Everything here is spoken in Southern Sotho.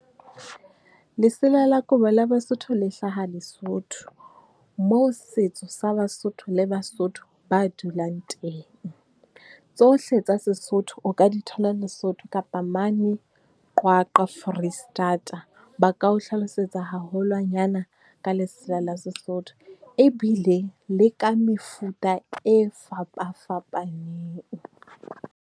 Lesela la kobo la Basotho le hlaha Lesotho, moo setso sa Basotho le Basotho ba dulang teng. Tsohle tsa Sesotho, o ka di thola Lesotho kapa mane Qwaqwa, Foreisetata. Ba ka o hlalosetsa haholwanyana ka lesela la Sesotho, ebile le ka mefuta e fapafapaneng.